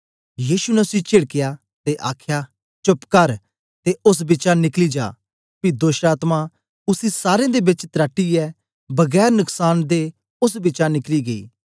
यीशु ने उसी चीढकया ते आख्या चुप कर ते ओस बिचा निकली जा पी दोष्टआत्मा उसी सारें दे बेच तराटीयै बगैर नकसांन दे ओस बिचा निकली गेई